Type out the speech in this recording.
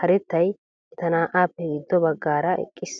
karettay eta naa'aappe giiddo baaggaara eqqis.